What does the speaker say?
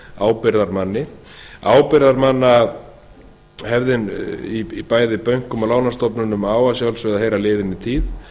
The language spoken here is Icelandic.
ábyrgðarmanni ábyrgðarmannahefðin í bæði bönkum og lánastofnunum á að sjálfsögðu að heyra liðinni tíð